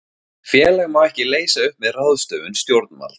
Félag má ekki leysa upp með ráðstöfun stjórnvalds.